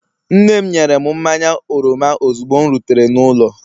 Nne'm nyere m mmanya oroma ozugbo m rutere n'ụlọ